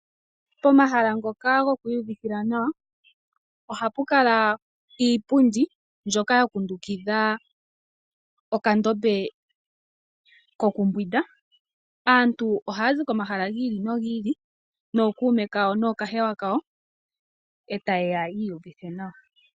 Pomahala ngoka goku iyuvithila nawa, ohapu kala iipundi mbyoka ya kundukidha okandombe kokumbwinda. Aantu ohaazi komahala gi ili nogi ili nookuume kawo nookahewa kawo, eta ye ya yi iyuvithe nawa